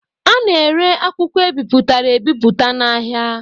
A na-ere akwụkwọ e bipụtara ebipụta n'ahịa.